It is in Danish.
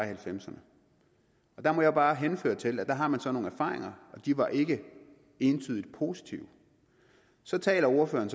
halvfemserne der må jeg bare henvise til at der har man så nogle erfaringer og de var ikke entydigt positive så taler ordføreren